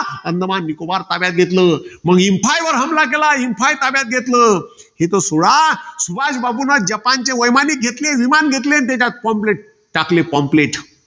अंदमान निकोबार ताब्यात घेतलं. मग इंफाय वर हमला केला, मग इंफाय ताब्यात घेतलं. हे सोडा. सुभाषबाबूंन जपानचे वैमानिक घेतले. विमान घेतले आणि त्याच्यात pomplate टाकले. pomplate